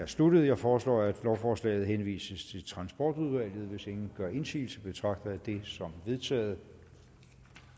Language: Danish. er sluttet jeg foreslår at lovforslaget henvises til transportudvalget hvis ingen gør indsigelse betragter jeg det som vedtaget